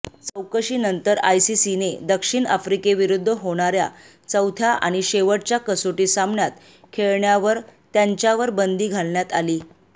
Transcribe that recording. चौकशीनंतर आयसीसीने दक्षिण आफ्रिकेविरुद्ध होणार्या चौथ्या आणि शेवटच्या कसोटी सामन्यात खेळण्यावर त्यांच्यावर बंदी घालण्यात आली